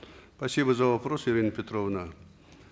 спасибо за вопрос ирина петровна